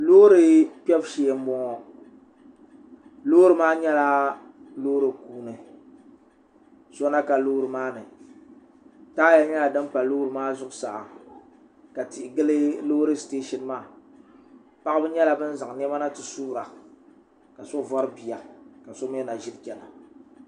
loori kpɛbu shee n bɔŋɔ loori maa nyɛla loori kuuni so na ka loori maa ni taaya nyɛla din pa loori maa zuɣusaa ka tihi gili loori sitɛshin maa paɣaba nyɛla bin zaŋ niɛma na ti suura ka so vori bia ka so mii na vori chɛna